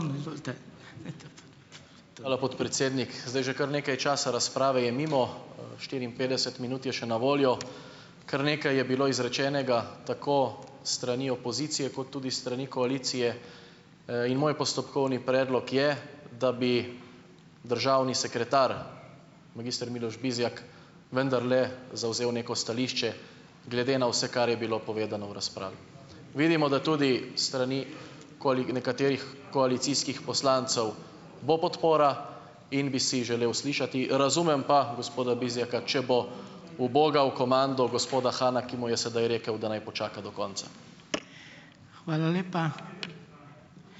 Hvala, podpredsednik. Zdaj že kar nekaj časa razprave je mimo, štiriinpetdeset minut je še na voljo. Kar nekaj je bilo izrečenega, tako s strani opozicije kot tudi s strani koalicije. In moj postopkovni predlog je, da bi državni sekretar, magister Miloš Bizjak vendarle zavzel neko stališče glede na vse, kar je bilo povedano v razpravi. Vidimo, da tudi s strani nekaterih koalicijskih poslancev bo podpora, in bi si želel slišati, razumem pa gospoda Bizjaka, če bo ubogal komando gospoda Hana, ki mu je sedaj rekel, da naj počaka do konca.